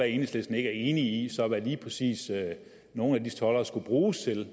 enhedslisten ikke er enig i hvad lige præcis nogle af de toldere skulle bruges til